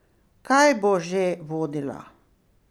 Kaj bo že vodila?